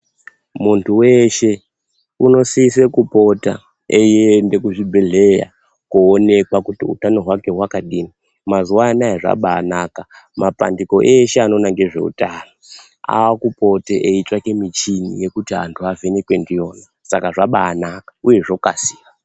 Muntu weshe, unosise kupota eiende kuzvibhedhleya, koonekwa kuti utano hwake hwakadini. Mazuwa anaya zvabaanaka, mapandiko eshe anoona ngezveutano, aakupote eitsvake michini yekuti anhu avhenekwe ndiyona. Saka zvabaanaka, uye zvokasira.